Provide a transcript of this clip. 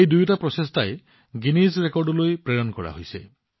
এই দুয়োটা প্ৰচেষ্টা গিনিজ ৰেকৰ্ডতো লিপিবদ্ধ কৰা হৈছে